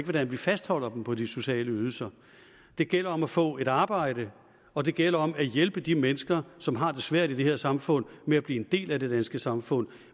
hvordan vi fastholder dem på de sociale ydelser det gælder om at få et arbejde og det gælder om at hjælpe de mennesker som har det svært i det her samfund med at blive en del af det danske samfund